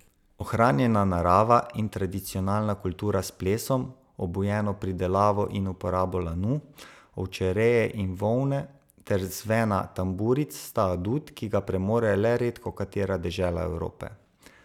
Ohranjena narava in tradicionalna kultura s plesom, obujeno pridelavo in uporabo lanu, ovčereje in volne ter zvena tamburic sta adut, ki ga premore le redkokatera dežela Evrope.